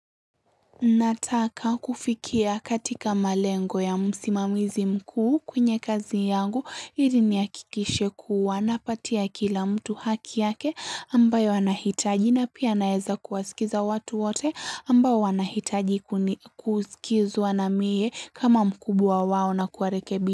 Nataka kufikia katika malengo ya msimamizi mkuu kwenye kazi yangu ili ni akikishe kuwa na patia kila mtu haki yake ambayo anahitaji na pia naeza kuwasikiza watu wote ambayo anahitaji kusikizu anamie kama mkubwa wa wao na kuarekebi.